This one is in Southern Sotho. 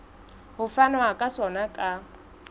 ho fanwa ka sona ka